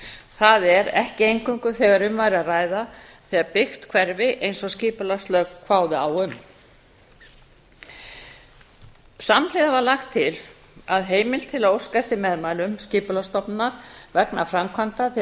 það er ekki eingöngu þegar um væri að ræða þegar byggt hverfi eins og skipulagslög kváðu á um samhliða var lagt til að heimild til að óska eftir meðmælum skipulagsstofnunar vegna framkvæmda þegar